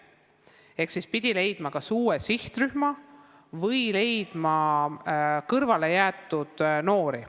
Seega pidi leidma kas uue sihtrühma või leidma kõrvalejäetud noori.